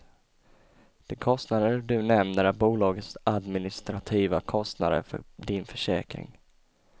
De kostnader du nämner är bolagets administrativa kostnader för din försäkring.